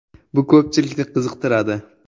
Bu ko‘pchilikni qiziqtiradi.